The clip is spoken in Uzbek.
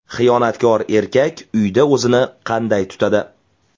Xiyonatkor erkak uyda o‘zini qanday tutadi?